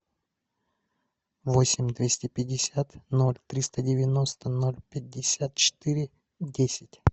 восемь двести пятьдесят ноль триста девяносто ноль пятьдесят четыре десять